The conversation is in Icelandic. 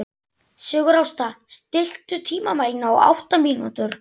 Sigurásta, stilltu tímamælinn á átta mínútur.